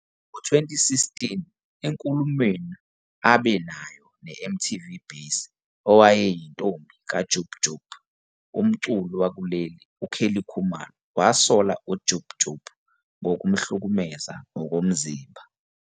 Ngo-2016 enkulumweni abe nayo neMTV Base, owayeyintombi kaJub Jub, umculi wakuleli uKelly Khumalo wasola uJub Jub ngokumhlukumeza ngokomzimba.